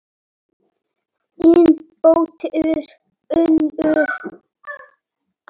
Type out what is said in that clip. Þín dóttir, Unnur.